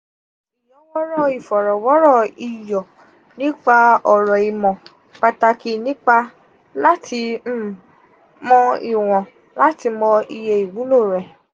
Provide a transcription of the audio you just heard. um iyọwọrọ ifọrọwọrọ iyọ nipa ọrọ imọ-pataki nipa lati um mo iwon lati mọ iye iwulo rẹ.